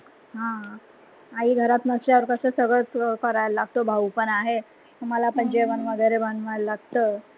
आह आई घरात नसल्यावर कस सगळ कराव लागतो भाऊ पण आहे मला पण जेवन वगैरे बनवाव लागत.